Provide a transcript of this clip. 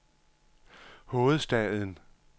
hovedstaden